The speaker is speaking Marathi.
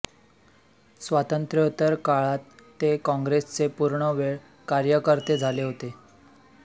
स्वातंत्र्योत्तर काळात ते काँग्रेसचे पूर्ण वेळ कार्यकर्ते झाले होते